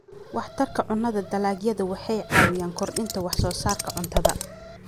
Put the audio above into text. Waxtarka Cunnada Dalagyadu waxay caawiyaan kordhinta wax soo saarka cuntada.